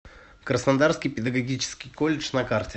краснодарский педагогический колледж на карте